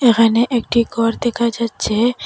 এখানে একটি ঘর দেখা যাচ্ছে।